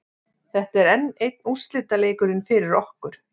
Þetta er enn einn úrslitaleikurinn fyrir okkur.